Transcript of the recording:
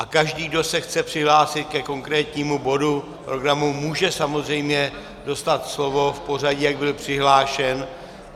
A každý, kdo se chce přihlásit ke konkrétnímu bodu programu, může samozřejmě dostat slovo v pořadí, jak byl přihlášen.